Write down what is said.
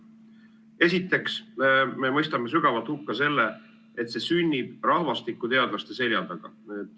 Esiteks me mõistame sügavalt hukka selle, et see sünnib rahvastikuteadlaste selja taga.